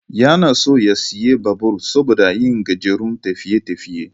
Yana so ya sayi babur saboda yin gajerun tafiye-tafiye